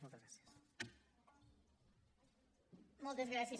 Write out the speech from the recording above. moltes gràcies